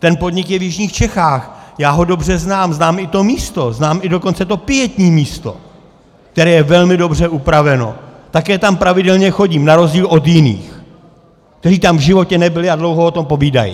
Ten podnik je v jižních Čechách, já ho dobře znám, znám i to místo, znám i dokonce to pietní místo, které je velmi dobře upraveno, také tam pravidelně chodím na rozdíl od jiných, kteří tam v životě nebyli a dlouho o tom povídají.